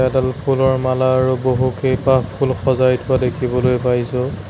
এডাল ফুলৰ মালা আৰু বহুকেইপাহ ফুল সজাই থোৱা দেখিবলৈ পাইছোঁ।